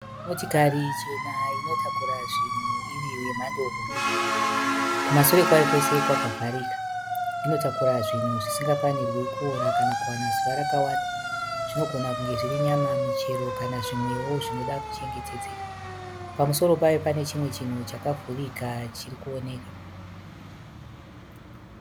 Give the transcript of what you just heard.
Motikari chena inotakura zvinhu iri yemhando hombe. Kumashure kwayo kwese kwakavharika. Inotakura zvinhu zvisingafanirwi kuora kana kuwana zuva rakawanda. zvinogona kunge zviri nyama, michero kana zvimwewo zvinoda kuchengetedzeka. Pamusoro payo pane chimwe chinhu chakavhurika chiri kuoneka.